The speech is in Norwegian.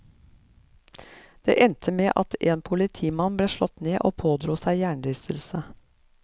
Det endte med at en politimann ble slått ned og pådro seg hjernerystelse.